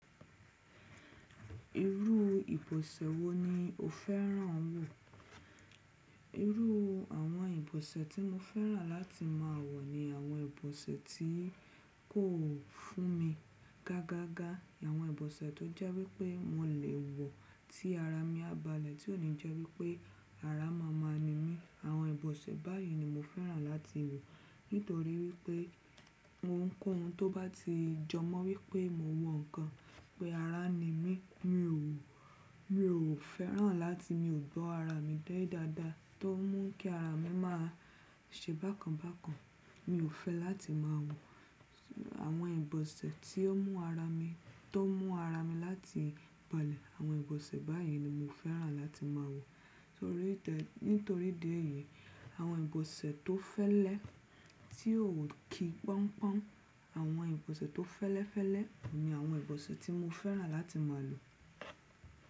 Irú ìbọ̀sẹ̀ wo ni o fẹ́ràn wọ̀? Irú àwọn ìbọ̀sẹ̀ tí mo fẹ́ràn láti máa wọ̀ ni àwọn ìbọ̀sẹ̀ tí kò fún mi gágá gá. Àwọn ìbọ̀sẹ̀ tó jẹ́ wípé mo lè wọ̀ tí ara mi á balẹ̀, tí ò ní jẹ́ wípé ara máma ni mí. Àwọn ìbọ̀sẹ̀ báyìí ni mo fẹ́ràn láti wọ̀. Nítorí wípé mo ńkọ́ ohun tó bá ti jọ mọ́ wípé mo wọ nǹkan, pé ara ni mí. Mi ò, mi ò fẹ́ràn láti mi ò gbọ́ ara mi dé dáadáa, tó ń mú kí ara mi máa ṣe bákan bákan. Mi ò fẹ́ láti máa wọ̀ àwọn ìbọ̀sẹ̀ tí ó mú ara mi, tó ń mú ara mi láti balẹ̀. Àwọn ìbọ̀sẹ̀ báyìí ni mo fẹ́ràn láti máa wọ̀. Torí tẹ́, nítorí idi èyi, àwọn ìbọ̀sẹ̀ tó fẹ́lẹ́, tí ò kí pọ́n pọ́n, àwọn ìbọ̀sẹ̀ tó fẹ́lẹ́fẹ́lẹ́ ni àwọn ìbọ̀sẹ̀ tí mo fẹ́ràn láti máa lo.